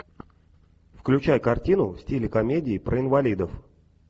включай картину в стиле комедии про инвалидов